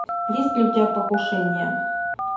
есть ли у тебя покушение